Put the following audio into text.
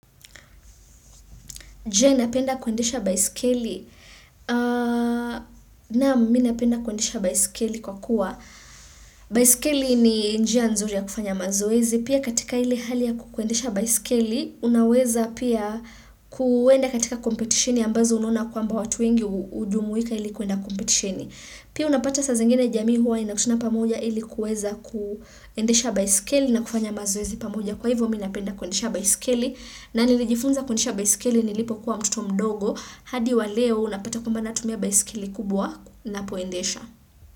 Je na penda kuendesha baiskeli na minapenda kuendesha baiskeli kwa kuwa baiskeli ni njia nzuri ya kufanya mazoezi pia katika ile hali ya kukuendesha baiskeli unaweza pia kuenda katika kompetishini ambazo unona kwa mba watu wengi ujumuika ili kuenda kompetishini. Pia unapata saa zingine jami huwa inakutuna pamoja ilikuweza kuendesha baisikeli na kufanya mazoezi pamoja kwa hivyo minapenda kuendesha baisikeli na nilijifunza kuendesha baisikeli nilipo kuwa mtoto mdogo hadi waleo unapata kwambana tumia baisikeli kubwa na poendesha.